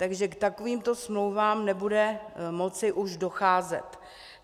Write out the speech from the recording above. Takže k takovýmto smlouvám nebude moci už docházet.